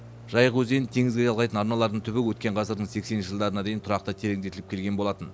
жайық өзенін теңізге жалғайтын арналарының түбі өткен ғасырдың сексенінші жылдарына дейін тұрақты тереңдетіліп келген болатын